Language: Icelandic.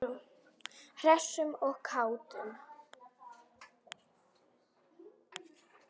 Hressum og kátum.